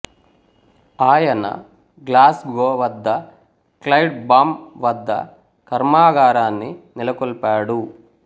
ఆయన గ్లాస్గో వద్ద క్లైడ్ బాం వద్ద కర్మాగారాన్ని నెలకొల్పాడు